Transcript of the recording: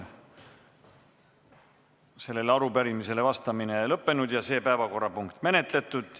Sellele arupärimisele vastamine on lõppenud ja see päevakorrapunkt on menetletud.